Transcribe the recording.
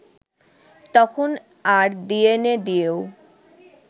তখন আর ডিএনএ দিয়েও